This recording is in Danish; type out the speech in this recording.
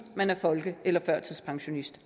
man er folke eller førtidspensionist